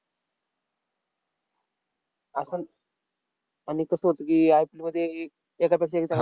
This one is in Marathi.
आपण आणि कसं होतं की, IPL मध्ये तश्या